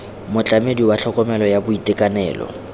motlamedi wa tlhokomelo ya boitekanelo